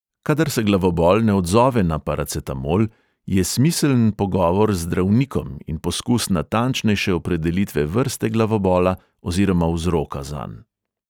Kadar se glavobol ne odzove na paracetamol, je smiseln pogovor z zdravnikom in poskus natančnejše opredelitve vrste glavobola oziroma vzroka zanj.